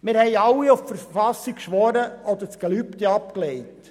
Wir haben alle auf die KV geschworen oder das Gelübde abgelegt.